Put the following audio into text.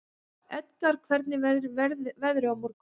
Edgar, hvernig verður veðrið á morgun?